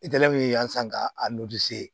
yan san ka a